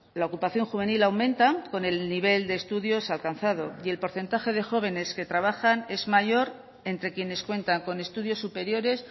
la ocupación juvenil aumenta con el nivel de estudios alcanzado y el porcentaje de jóvenes que trabajan es mayor entre quienes cuentan con estudios superiores